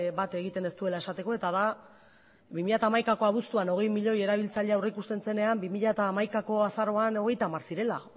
bat egiten ez duela esateko eta da bi mila hamaikako abuztuan hogei milioi erabiltzaile aurrikusten zenean bi mila hamaikako azaroan hogeita hamar zirela